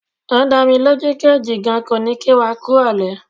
O dámilójú pé Jìgan kò ní kí wa kú ìrọ̀lẹ́.